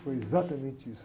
Foi exatamente isso.